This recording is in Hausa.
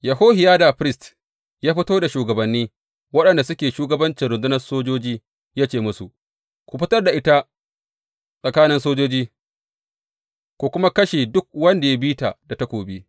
Yehohiyada firist ya fito da shugabanni waɗanda suke shugabancin rundunar sojoji, ya ce musu, Ku fitar da ita tsakanin sojoji ku kuma kashe duk wanda ya bi ta da takobi.